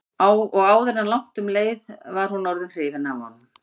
Og áður en langt um leið var hún orðin hrifin af honum.